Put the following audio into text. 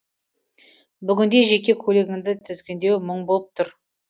бүгінде жеке көлігіңді тізгіндеу мұң болып тұр